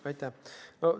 Aitäh!